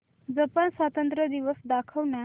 Japan स्वातंत्र्य दिवस दाखव ना